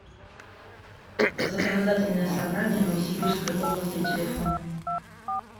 законодательное собрание новосибирской области телефон